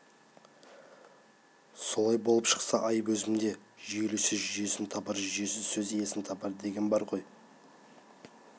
солай болып шықса айып өзімде жүйелі сөз жүйесін табар жүйесіз сөз иесін табар деген бар ғой